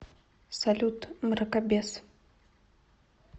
салют мракобес